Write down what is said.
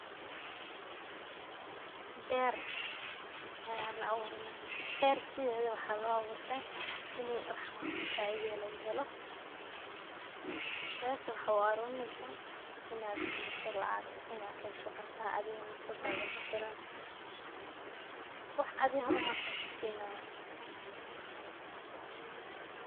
Ber ayaa la awuranayaa, ber sidhedaba waxaa lo awurtah ini wax faida eh lagahelo. Berta waxaa u awuraneysaah inaad kahesho lacag inaa kahesho cunto adiga nafsadadha kufilan, wax adhi hormarka kusinayo